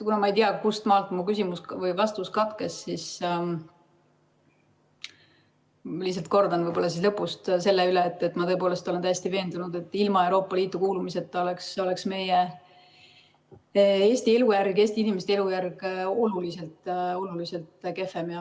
Kuna ma ei tea, kus mu vastus katkes, siis ma lihtsalt kordan võib-olla üle selle, et ma tõepoolest olen täiesti veendunud, et ilma Euroopa Liitu kuulumiseta oleks meie Eesti inimeste elujärg oluliselt kehvem.